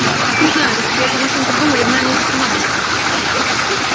не знаю если бы я эту машину придумал я бы наверное уже с ума сошёл